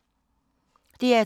DR2